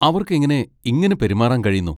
അവർക്കെങ്ങനെ ഇങ്ങനെ പെരുമാറാൻ കഴിയുന്നു?